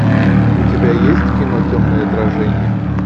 у тебя есть кино темное отражение